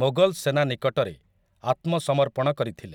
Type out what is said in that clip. ମୋଗଲ୍‌‌ ସେନା ନିକଟରେ ଆତ୍ମସମର୍ପଣ କରିଥିଲେ ।